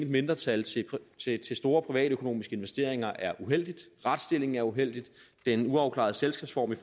mindretal til store privatøkonomiske investeringer er uheldig retsstillingen er uheldig den uafklarede selskabsform i